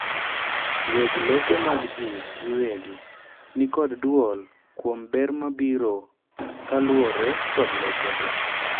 weg lope mag jii giwegi nikod duol kuom ber mabiro kaluwore kodlopego